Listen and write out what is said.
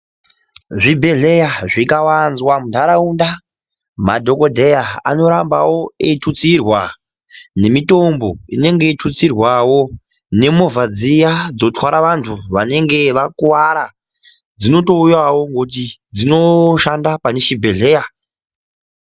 Zvibhedhleya zvikawanzwa muntaraunda madhokodheya ano ramba eitutsirwa nemitombo inenge yeitutsirwawo nemovha dziya dzotwara vantu vanenge vakuwara dzinotouyawo koti dzinoshanda pane chibhedhleya.